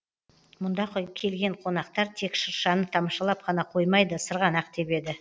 мұнда келген қонақтар тек шыршаны тамашалап қана қоймайды сырғанақ тебеді